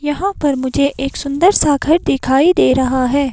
यहां पर मुझे एक सुंदर सा घर दिखाई दे रहा है।